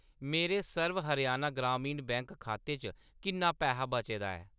मेरे सर्व हरियाणा ग्रामीण बैंक खाते च किन्ना पैहा बचे दा ऐ ?